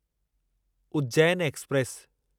Ujjain express